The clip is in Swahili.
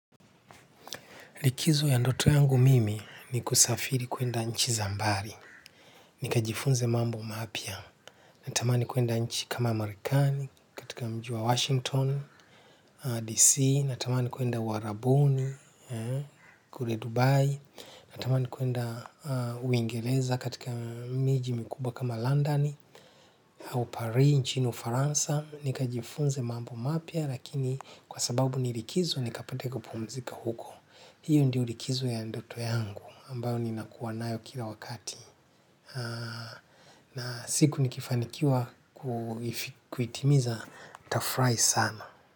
Likizo ya ndoto yangu mimi ni kusafiri kwenda nchi za mbali. Ni kajifunze mambo mapya. Natamani kwenda nchi kama marekani katika mji wa Washington, D.C. Natamani kwenda uarabuni, kule Dubai. Natamani kwenda Uingereza katika miji mikubwa kama London au Parii, nchini Ufaransa. Ni kajifunze mambo mapya lakini kwa sababu ni likizo ni kapate kupumzika huko. Hiyo ndio likizo ya ndoto yangu ambayo ni nakuwa nayo kila wakati na siku nikifanikiwa kuitimiza nitafurahi sana.